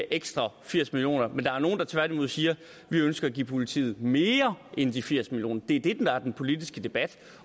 ekstra firs million kroner men der er nogle der tværtimod siger vi ønsker at give politiet mere end de firs million kroner det er det der er den politiske debat